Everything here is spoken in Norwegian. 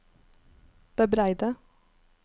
bebreide